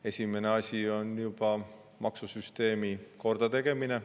Esimene asi on maksusüsteemi kordategemine.